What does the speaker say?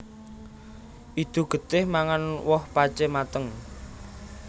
Idu getih Mangan woh pacé mateng